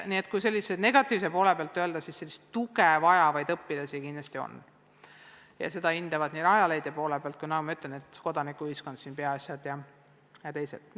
Nii et kui negatiivse poole pealt öelda, siis tuge vajavaid õpilasi kindlasti on, seda nii Rajaleidja hinnangul kui ka kodanikuühiskonna, antud juhul Peaasjade ja teiste hinnangul.